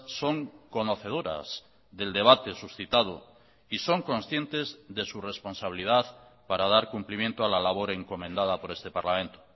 son conocedoras del debate suscitado y son conscientes de su responsabilidad para dar cumplimiento a la labor encomendada por este parlamento